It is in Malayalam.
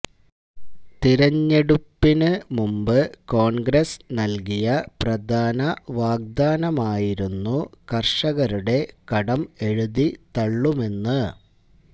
തെരഞ്ഞെടുപ്പിന് മുമ്പ് കോണ്ഗ്രസ് നല്കിയ പ്രധാന വാഗ്ദാനമായിരുന്നു കര്ഷകരുടെ കടം എഴുതിത്തള്ളുമെന്ന്